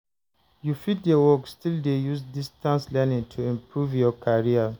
You fit dey work still dey use distance learning to improve your carrer.